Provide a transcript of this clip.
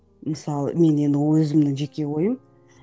мысалы мен енді өзімнің жеке ойым